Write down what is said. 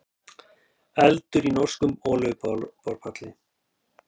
Eldur í norskum olíuborpalli